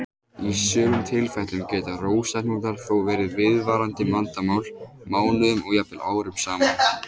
Í sumum tilfellum geta rósahnútar þó verið viðvarandi vandamál mánuðum og jafnvel árum saman.